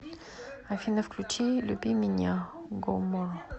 афина включи люби меня гомморо